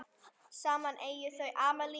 Saman eiga þau Amelíu Rós.